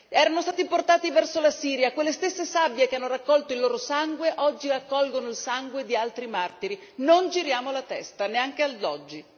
Erano stati portati verso la Siria, quelle stesse sabbie che hanno raccolto il loro sangue oggi raccolgono il sangue di altri martiri non giriamo la testa neanche oggi!